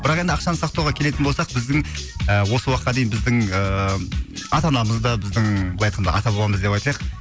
бірақ енді ақшаны сақтауға келетін болсақ біздің ы осы уақытқа дейін біздің ыыы ата анамыз да біздің былай айтқанда ата бабамыз деп айтайық